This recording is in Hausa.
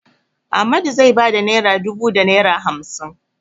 Ahmadu zai ba da naira dubu da naira hamsin.